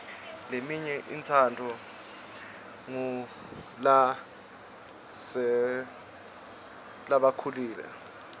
leminye itsandvwa ngulasebakhulile